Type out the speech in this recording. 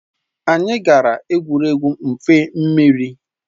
Anyị gara egwuregwu mmịfe mmiri